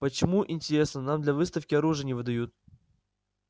почему интересно нам для выставки оружие не выдают